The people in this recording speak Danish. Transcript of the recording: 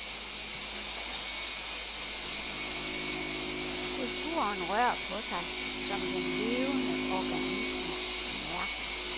Kulturen rør på sig, som den levende organisme, den er.